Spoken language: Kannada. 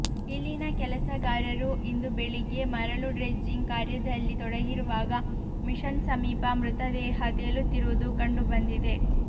ಇಲ್ಲಿನ ಕೆಲಸಗಾರರು ಇಂದು ಬೆಳಿಗ್ಗೆ ಮರಳು ಡ್ರೆಜ್ಜಿಂಗ್ ಕಾರ್ಯದಲ್ಲಿ ತೊಡಗಿರುವಾಗ ಮಿಷನ್ ಸಮೀಪ ಮೃತದೇಹ ತೇಲುತ್ತಿರುವುದು ಕಂಡು ಬಂದಿದೆ